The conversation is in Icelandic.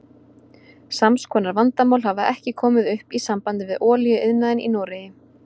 Sams konar vandamál hafa ekki komið upp í sambandi við olíuiðnaðinn í Noregi.